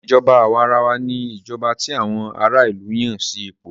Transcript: Ìṣèjọba àwàrawa ní ìjọba tí àwọn ará ìlú Yàn sí ipò.